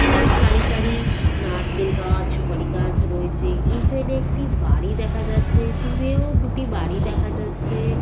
দূরে সারি সারি নারকেল গাছ সুপারি গাছ রয়েছে এই সাইড -এ একটি বাড়ি দেখা যাচ্ছে দূরেও দুটি বাড়ি দেখা যাচ্ছে।